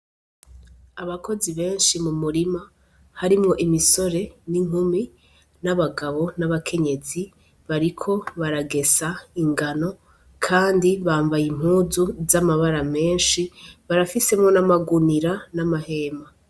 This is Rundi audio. Abakozi benshi mu murima harimwo imisore n'inkumi n'abagabo n'abakenyezi bariko baragesa ingano kandi bambaye impuzu zamabara menshi barafisemo amagunira n'amahema.